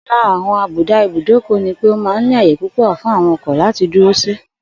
Ò̩kan lára àwo̩n àbùdá ìbúdókò̩ ní pé ó máa ń ní àyè púpò̩ fún àwo̩n o̩kò̩ láti dúró sí